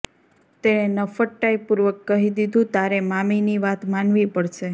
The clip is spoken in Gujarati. તેણે નફ્ફટાઇ પૂર્વક કહી દીધું તારે મામીની વાત માનવી પડશે